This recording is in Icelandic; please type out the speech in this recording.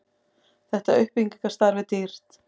þetta uppbyggingarstarf er dýrt